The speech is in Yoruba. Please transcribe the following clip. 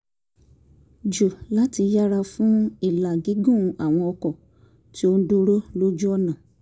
jù láti yẹra fún ìlà gígùn àwọn ọkọ̀ tó ń dúró lójú ọ̀nà